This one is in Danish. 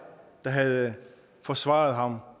der havde forsvaret ham